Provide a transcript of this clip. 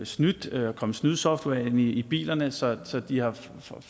snydt og kommet snydesoftware ind i bilerne så så de har